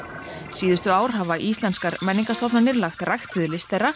síðustu ár hafa íslenskar menningarstofnanir lagt rækt við list þeirra